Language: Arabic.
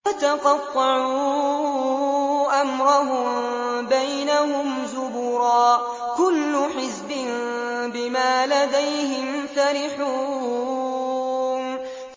فَتَقَطَّعُوا أَمْرَهُم بَيْنَهُمْ زُبُرًا ۖ كُلُّ حِزْبٍ بِمَا لَدَيْهِمْ فَرِحُونَ